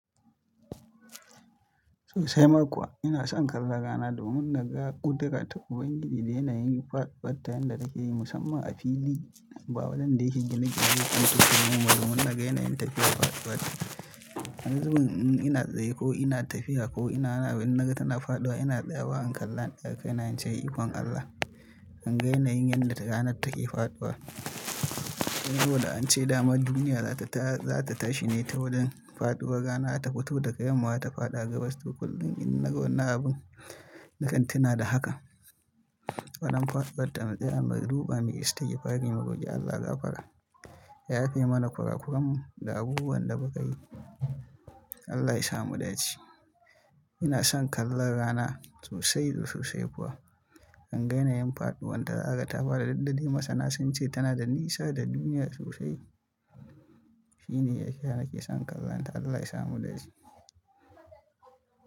Sosai ma kuwa ina son kalla rana domin naga ƙudira ta Ubangiji da yanayin faduwatta yanda take yi musamman a fili. Ba wajanda yake gine gine, duk dumin na ga yanayin take faduwatta A wani zubin in ina tsaye ko ina tafiya ko ina naga tana faɗuwa ina tsaya wa, in kalla in daga kai na in ce ikon Allah. In ga yanayin yadda ranar take faɗuwa. Saboda an ce damar duniya za ta tashi ne ta wurin faɗuwa rana ta fito daga yamma ta faɗa gabas. Duk kullum in naga wannan abun, nakan tina da haka, wannan faduwar ta tsaya muduka mai istigfari mu roki Allah ga fara ya yafe mana kurakuran da abubuwan da ba ka yi. Allah ya sa mu dace. Ina son kalla rana sosai da sosai kuwa. In ga yanayin faɗuwar ta, naga tafara duk dadai masana sun ce tana da nisa da duniya sosai. Shi ne yadda nake son kallonta. Allah ya sa mu dace.